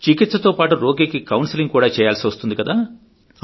చికిత్స తోపాటు రోగికి కౌన్సిలింగ్ కూడా చేయాల్సి వస్తుంది కదా